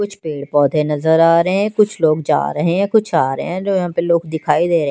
कुछ पेड़ पौधे नजर आ रहे हैं कुछ लोग जा रहे हैं कुछ आ रहे हैं जो यहां पे लोग दिखाई दे रहे--